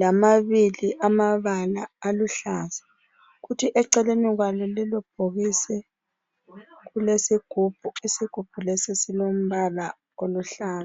lamabili amabala aluhlaza kuthi eceleni kwalo lelo bhokisi kulesigubhu isigubhu lesi silombala oluhlaza